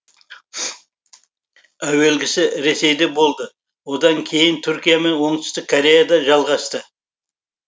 әуелгісі ресейде болды одан кейін түркия мен оңтүстік кореяда жалғасты